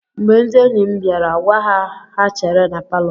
Mgbe ndị enyi m bịara, gwa ha ka ha chere na palọ.